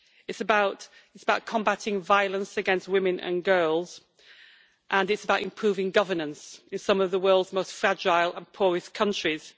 It's about combating violence against women and girls, and it's about improving governance in some of the world's most fragile and poorest countries.